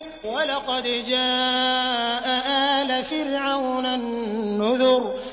وَلَقَدْ جَاءَ آلَ فِرْعَوْنَ النُّذُرُ